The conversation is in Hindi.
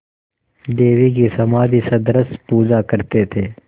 देवी की समाधिसदृश पूजा करते थे